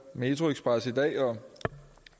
metroxpress i dag